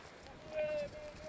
nə eləyib.